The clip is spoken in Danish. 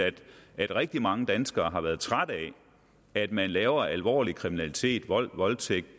at rigtig mange danskere har været trætte af at man laver alvorlig kriminalitet vold voldtægt